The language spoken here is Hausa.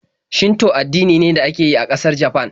Shinto addini ne da ake yi a ƙasar Japan.